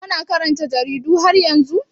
Kana karanta jaridu har yanzu?